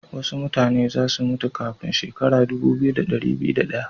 Wasu mutane za su mutu kafin shekara dubu biyu, da dari biyu da daya.